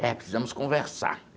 É, precisamos conversar.